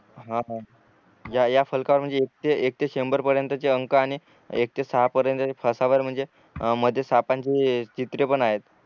हा हा या या फलकावर म्हणजे एक ते एक ते शंभर पर्यंतचे अंक आणि मधेच सापांची